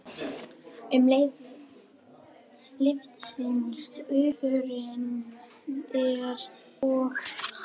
Um leið lyftist úfurinn og nefkokið lokast svo að við getum ekki andað með nefinu.